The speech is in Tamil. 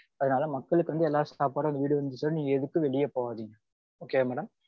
அதனால மக்களுக்கு வந்து எல்லா சாப்பாடும் வீடு வந்து சேரும். நீங்க எதுக்கும் வெளிய போக வேண்டாம். Okay வா madam?